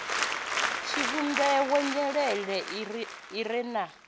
tshivhumbeo nyelelo i re na